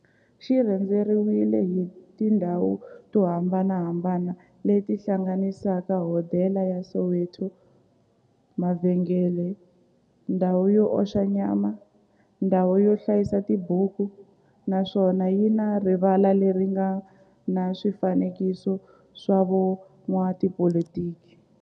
xi rhendzeriwile hi tindhawu to hambanahambana le ti hlanganisaka, hodela ya Soweto, mavhengele, ndhawu yo oxa nyama, ndhawu yo hlayisa tibuku, naswona yi na rivala le ri nga na swifanekiso swa vo n'watipolitiki.